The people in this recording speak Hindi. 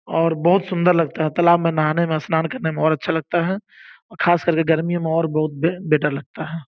और बहुत सुंदर लगता है तालाब में नहाने में स्नान करने में और अच्छा लगता है खास करके गर्मियों में और बहुत बेटर लगता है।